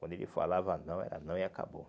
Quando ele falava não, era não e acabou.